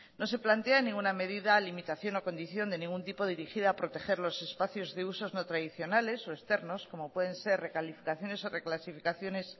no se plantea ninguna medida limitación o condición de ningún tipo dirigida a proteger los espacios de uso no tradicionales o externos como pueden ser recalificaciones o reclasificaciones